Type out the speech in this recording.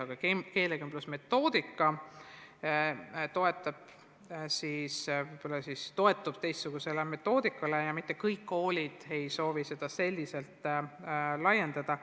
Aga keelekümblusmetoodika toetub teistsugusele metoodikale ja mitte kõik koolid ei soovi selle kasutamist laiendada.